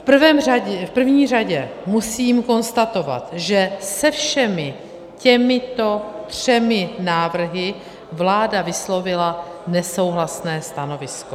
V první řadě musím konstatovat, že se všemi těmito třemi návrhy vláda vyslovila nesouhlasné stanovisko.